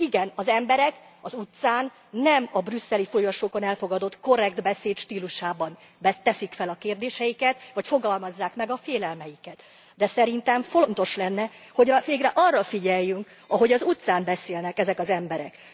Igen, az emberek az utcán nem a brüsszeli folyosókon elfogadott korrekt beszéd stílusában teszik fel a kérdéseiket, vagy fogalmazzák meg a félelmeiket, de szerintem fontos lenne, hogy végre arra figyeljünk, ahogy az utcán beszélnek ezek az emberek.